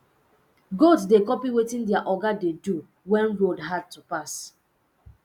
goat dey copy wetin their oga de do when road hard to pass